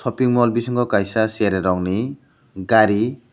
shoping mall bisingo kaisa cherairok ni gari.